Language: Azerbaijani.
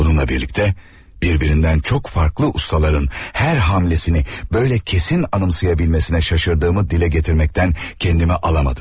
Bununla birlikdə, bir-birindən çox farklı ustaların hər hamlesini belə kesin anımsaya bilməsinə şaşırdığımı dilə gətirməkdən kəndimi alamadım.